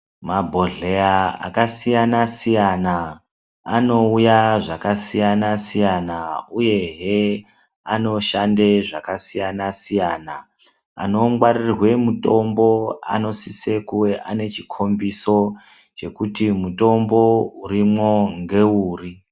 Mabhodhleya akasiyana siyana anouye zvakasiyana siyana uyehe anoshande zvakasiyana siyana anongwarirwe mutombo anosise kuve ane chikombiso chekuti mutombo urimwo ngeuri.